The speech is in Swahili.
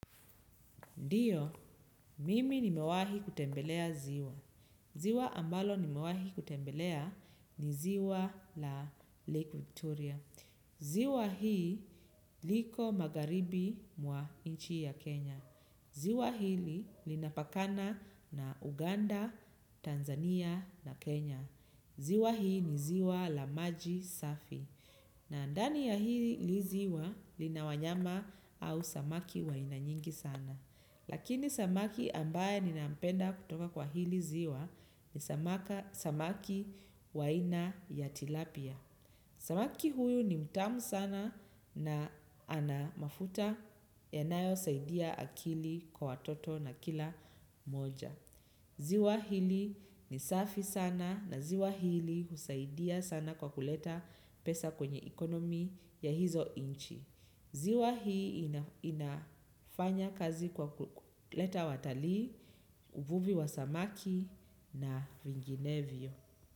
Ndiyo, mimi nimewahi kutembelea ziwa. Ziwa ambalo nimewahi kutembelea ni ziwa la Lake Victoria. Ziwa hii liko magharibi mwa nchi ya Kenya. Ziwa hili linapakana na Uganda, Tanzania na Kenya. Ziwa hii ni ziwa la maji safi. Na ndani ya hili ziwa lina wanyama au samaki wa aina nyingi sana. Lakini samaki ambaye ninampenda kutoka kwa hili ziwa ni samaki wa aina ya tilapia. Samaki huyu ni mtamu sana na ana mafuta yanayosaidia akili kwa watoto na kila mmoja. Ziwa hili ni safi sana na ziwa hili husaidia sana kwa kuleta pesa kwenye economy ya hizo nchi. Ziwa hii inafanya kazi kwa kuleta watalii, uvuvi wa samaki na vinginevyo.